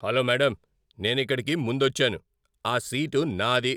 Hello madam, నేనిక్కడికి ముందొచ్చాను. ఆ సీటు నాది.